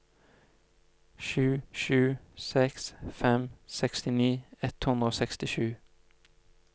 sju sju seks fem sekstini ett hundre og sekstisju